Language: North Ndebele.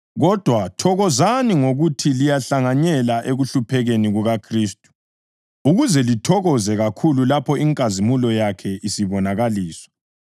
Kodwa thokozani ngokuthi liyahlanganyela ekuhluphekeni kukaKhristu, ukuze lithokoze kakhulu lapho inkazimulo yakhe isibonakaliswa.